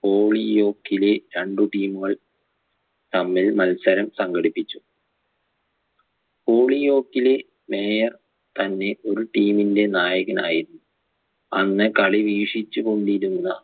പോളിയോക്കിലെ രണ്ടു team കൾ തമ്മിൽ മത്സരം സംഘടിപ്പിച്ചു പോളിയോക്കിലെ mayor തന്നെ ഒരു team ന്റെ നായകനായും അന്ന് കളി വീക്ഷിച്ചുകൊണ്ടിരുന്ന